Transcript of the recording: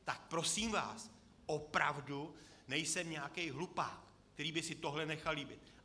Tak prosím vás, opravdu nejsem nějaký hlupák, který by si tohle nechal líbit.